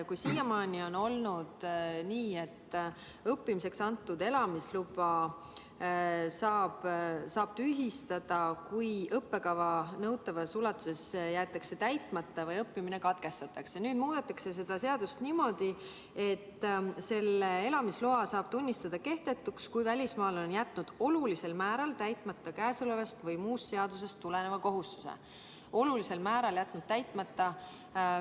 Kui siiamaani on olnud nii, et õppimiseks antud elamisluba saab tühistada, kui õppekava nõutavas ulatuses jäetakse täitmata või õppimine katkestatakse, siis nüüd muudetakse seadust niimoodi, et elamisloa saab tunnistada kehtetuks, kui välismaalane on jätnud olulisel määral täitmata käesolevast või muust seadusest tuleneva kohustuse, on jätnud selle olulisel määral täitmata.